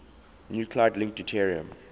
nuclide link deuterium